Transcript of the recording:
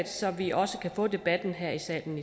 så vi også kan få debatten her i salen